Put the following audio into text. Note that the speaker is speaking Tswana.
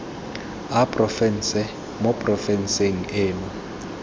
a porofense mo porofenseng eno